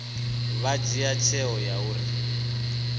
vha dzhie tsheo ya uri